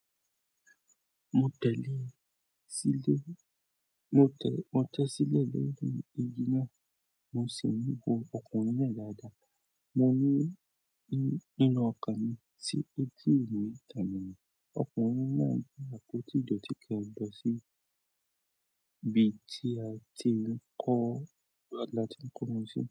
Mo tẹ̀lé sílè, mo tẹ̀, mo tẹ́ sílẹ̀ lẹ́yìn igi náà. Mo sì rí ọkùnrin náà dáadáa. Mo rí ní nínú ọkàn mi sí etí ìlú tàbí ọkùnrin náà gbé àpótí ìdọ̀tí kan lọ sí ibi tí a ti ń kọ́, láti ń kọ́ wọn si.